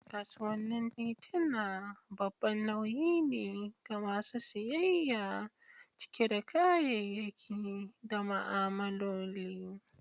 Kasuwannin tituna babban nauyi ne ga masu siyayya, cike da kayayyaki da ma'amaloli.